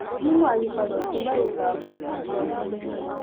mímú àyípadà ọtún bá ètò ààbò àti ọgbọninú